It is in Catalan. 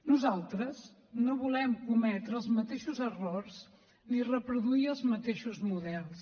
nosaltres no volem cometre els mateixos errors ni reproduir els mateixos models